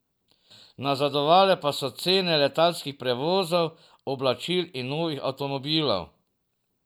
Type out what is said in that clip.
Nazadovale pa so cene letalskih prevozov, oblačil in novih avtomobilov.